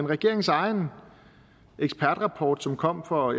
regeringens egen ekspertrapport som kom for